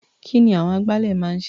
Kí ni àwọn agbálẹ̀ máa ń ṣe?